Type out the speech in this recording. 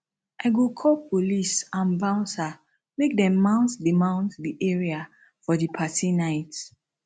i go call police and bouncer make dem mount di mount di area for di party night